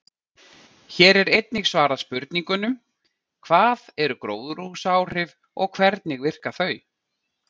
Hér er einnig svarað spurningunum: Hvað eru gróðurhúsaáhrif og hvernig virka þau?